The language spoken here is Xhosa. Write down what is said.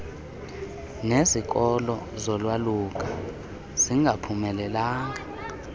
nezikolo zolwaluka zingaphumelelanga